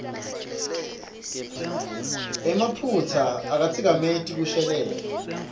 emaphutsa akatsikameti kushelela